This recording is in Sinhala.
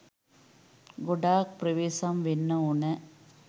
ගොඩාක් ප්‍රවේසම් වෙන්න ඕන.